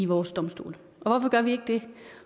vores domstole og hvorfor gør vi ikke det